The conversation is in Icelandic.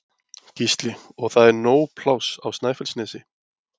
Gísli: Og það er nóg pláss á Snæfellsnesi?